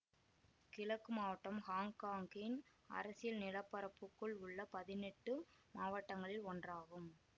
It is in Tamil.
கிழக்கு மாவட்டம் ஹாங்காங்கின் அரசியல் நிலப்பரப்புக்குள் உள்ள பதினெட்டு மாவட்டங்களில் ஒன்றாகும்